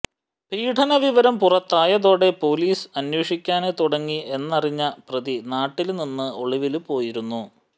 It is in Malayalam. പീഡനവിവരം പുറത്തായതോടെ പോലീസ് അന്വോഷിക്കാന് തുടങ്ങി എന്നറിഞ്ഞ പ്രതി നാട്ടില് നിന്നും ഒളിവില് പോയിരുന്നു